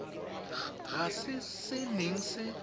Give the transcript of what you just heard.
ga se se neng se